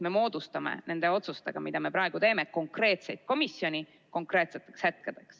Me moodustame nende otsustega, mida me praegu teeme, konkreetseid komisjone konkreetseteks hetkedeks.